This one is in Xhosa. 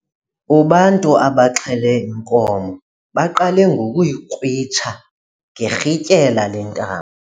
Ubantu abaxhele inkomo baqale ngokuyikrwitsha ngerhintyela lentambo.